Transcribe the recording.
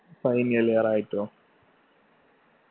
final year ആയിട്ടോ